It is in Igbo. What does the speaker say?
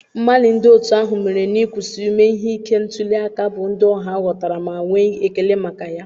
Mgbalị ndị otu ahụ mere n'ịkwụsị ime ihe ike ntuli aka bụ ndị ọha ghọtara ma nwee ekele maka ya.